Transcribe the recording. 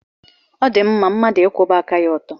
Ọ dị mma mmadụ ịkwụba aka ya ọtọ.